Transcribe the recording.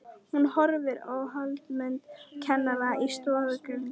Hún horfir á Hallmund kennara í stofudyrunum.